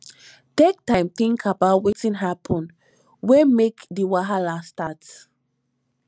take time think about wetin happen wey make di wahala start